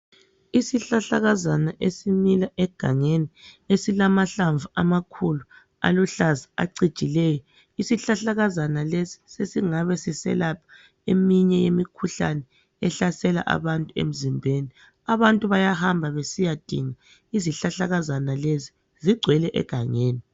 Isihlahlakazana esimila egangeni esilamahlamvu amakhulu aluhlaza acijileyo isihlahlakazana lesi sesingabe siselapha eminye imikhuhlane ehlasela abantu emzimbeni abantu bayahamba besiyadinga izihlahlakazana lezi zigcwele egangeni.